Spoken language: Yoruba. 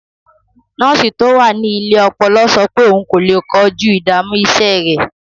Nọ́ọ̀sì tó wà ní ilé ọpọlọ sọ pé òun kò lè kojú ìdààmú iṣẹ́ rẹ̀.